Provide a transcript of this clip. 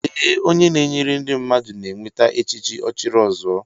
Ee, onye na enyere ndị mmadụ na enweta echichi ochiri ọzuọ